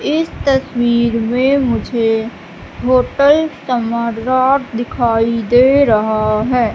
इस तस्वीर में मुझे होटल चमददार दिखाई दे रहा है।